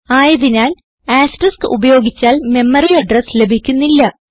ആയതിനാൽ ആസ്റ്ററിസ്ക് ഉപയോഗിച്ചാൽ memory address ലഭിക്കുന്നില്ല